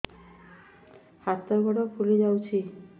ହାତ ଗୋଡ଼ ଫୁଲି ଯାଉଛି